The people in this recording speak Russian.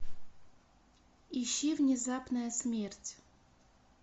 ищи внезапная смерть